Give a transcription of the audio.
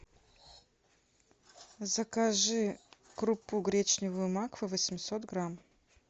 закажи крупу гречневую макфа восемьсот грамм